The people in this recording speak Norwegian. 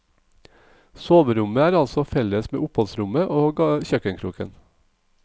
Soverommet er altså felles med oppholdsrommet og kjøkkenkroken.